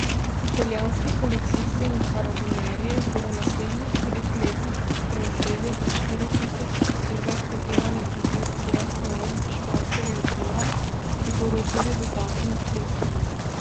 Italijanski policisti in karabinjerji bodo v naslednjih treh letih prevzeli do štiri tisoč posebej predelanih vozil seat leon španskega izvora, ki bodo tudi dodatno oklepljena.